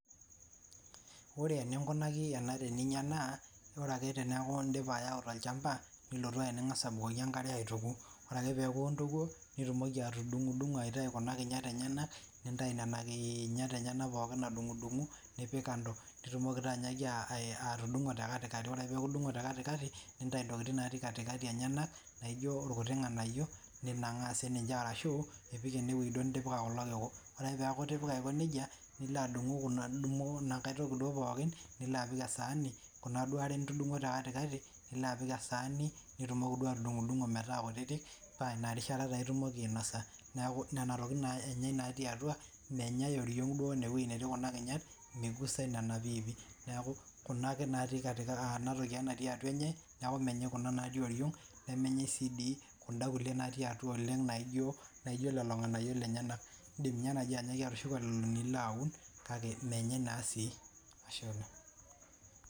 Ore eningunaki ena eninyia naa orake teniaku indipa aitayu tolchamba nilotu nang'as abukoki engare aituku orake piaku intukuo nitumoki atudungpdungo aitayu kuna kinyat enyenak nintayu nena kinyat enyenak adungudungu, nipikando Nitumoki taa anyaaki atudungo tekatikati orake piaku itudungo tekatikati, nintayu ntokiting natii katikati enyenak naijonilkuti ng'anayiok ninangaa ashu ipik ene duo nitipika kuko kiku. Orake piaku itipika aiko neija nilo adungu ena toki duo pookin nilo apik esani kuna duo are nitudunguo tekatikati nipik esaani nitumoki duo atudungidungo metaa kutitik naa inarishata naa in'dim ainosa Inarishata naa nena tokiting naa enyai natii atua menyai oriong' inewei netii kuna kinyat migusai nena piipi niaku enatoki ake natii atua enye niaku menyai kuna natii oriong nemenyai sii dii kuna kulie natii atua naijo lelo nganayiok lenyenak In'dim ninye nai atushuko lelo nilo aun kake menyai naa sii Ashe oleng